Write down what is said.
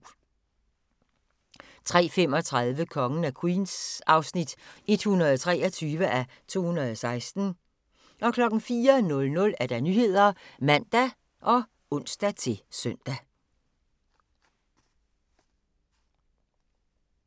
03:35: Kongen af Queens (123:216) 04:00: Nyhederne (man og ons-søn)